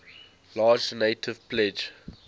large donative pledge